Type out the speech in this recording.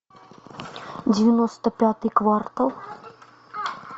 девяносто пятый квартал